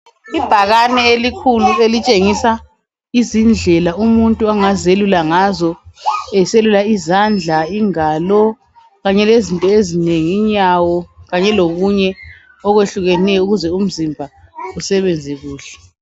Ibhakane elikhulu elitshengisa izindlela umuntu angazelula ngazo, eselula izandla, ingalo, kanye lezinto ezinengi, inyawo, kanye lokunye okwehlukeneyo ukuze umzimba usebenze kuhle.